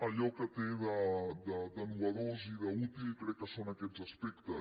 allò que té de nou i d’útil crec que són aquests aspectes